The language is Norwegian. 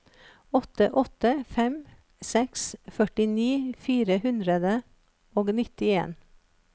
åtte åtte fem seks førtini fire hundre og nittien